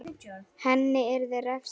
Henni yrði refsað.